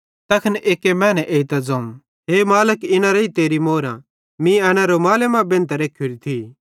तैखन एक्की मैने एइतां ज़ोवं हे मालिक इना रेइ तेरी अश्रेफी मीं एन रूमाले मां बेंधतां रखोरी थी